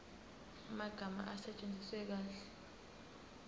amagama asetshenziswe kahle